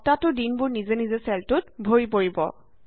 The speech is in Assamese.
সপ্তাহটোৰ দিনবোৰ নিজে নিজে চেলটোত ভৰি পৰিব